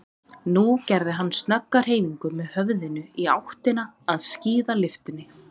Nú gerði hann snögga hreyfingu með höfðinu í áttina að skíðalyftunni.